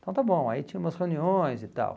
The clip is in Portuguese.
Então está bom, aí tinha umas reuniões e tal.